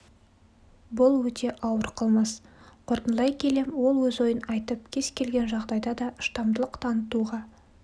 бұл өте ауыр қылмыс қорытындылай келе ол өз ойын айтып кез-келген жағдайда да шыдамдылық танытуға